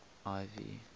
ivy